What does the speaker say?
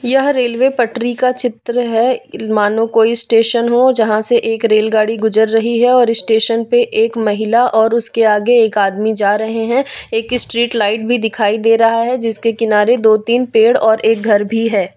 यह रेलवे पटरी का चित्र है मानो कोई स्टेशन हो यहां से एक रेलगाड़ी गुजर रही है और स्टेशन पे एक महिला और उसके आगे एक आदमी जा रहे हैं एक स्ट्रीट लाइट भी दिखाई दे रहा है जिसके किनारे दो तीन पेड़ और एक घर भी है।